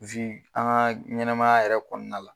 an ŋa ɲɛnɛmaya yɛrɛ kɔɔna la